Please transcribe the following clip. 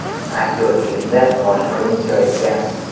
Aktyor filmda bosh rolni ijro etgan.